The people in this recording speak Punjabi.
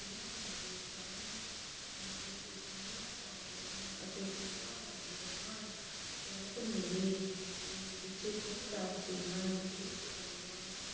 ਅਤੇ ਪੀਂਘਾਂ ਲਗਾਉਂਦੇ ਹਨ। ਵੈਦ ਮੇਰੇ ਵਿਚ ਗੁਣ ਦੱਸਦੇ ਹਨ, ਕਈ ਦਵਾਈਆਂ